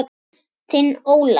Þinn Ólafur.